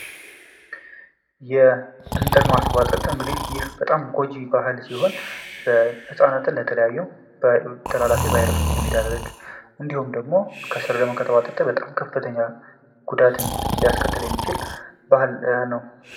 የእንጥል ማስቡዋጠጥ ጎጂ ባህል ሲሆን ህጻናትን ለተለያዩ ተላላፊ በሽታዎች የሚዳርግ እንዲሁም ደግሞ ከስር ከተቡዋጠጠ ከፍተኛ ጉዳትን ሊያስከተል የሚችል ባህል ነው።